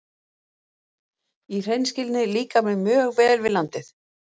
Í hreinskilni líkar mér mjög vel við landið.